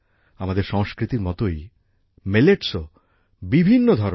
আমাদের সংস্কৃতির মতোই মিলেটসও বিভিন্ন ধরনের হয়